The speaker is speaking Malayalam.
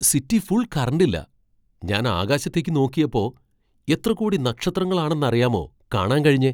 സിറ്റി ഫുൾ കറന്റില്ല, ഞാൻ ആകാശത്തേക്ക് നോക്കിയപ്പോ, എത്ര കോടി നക്ഷത്രങ്ങളാണെന്നറിയാമോ കാണാൻ കഴിഞ്ഞേ.